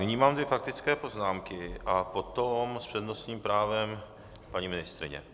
Nyní mám dvě faktické poznámky a potom s přednostním právem paní ministryně.